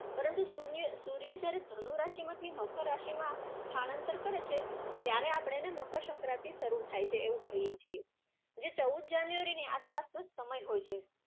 પરંતુ સૂર્ય અર જયારે ધનુ રાશિમાંથી મકર રાશિમાં સ્થાનાંતર કરે છે ત્યારે આપણે મકરસંક્રાંતિ શરુ થાય છે એવું કહીએ છીએ. જે ચૌદ January ની આસપાસનો સમય હોય છે.